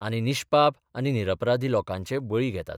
आनी निश्पाप आनी निरपराधी लोकांचे बळी घेतात.